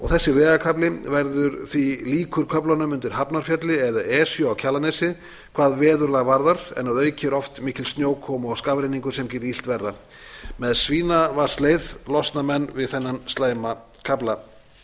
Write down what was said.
þessi vegakafli verður því líkur köflunum undir hafnarfjalli eða esju á kjalarnesi hvað veðurlag varðar en að auki er oft mikil snjókoma og skafrenningur sem gerir illt verra með svínavatnsleið losna menn við þennan slæma kafla frú